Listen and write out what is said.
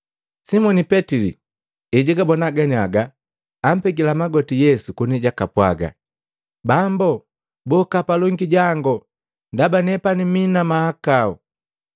Simoni Petili ejagabona ganiaga, ampegila magoti Yesu koni jakapwaga, “Bambu boka palongi jangu ndaba nepani mii na mahakau!”